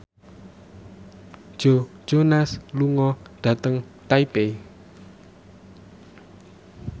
Joe Jonas lunga dhateng Taipei